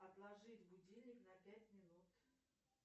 отложить будильник на пять минут